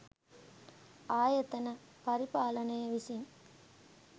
ආයතන පරිපාලනය විසින්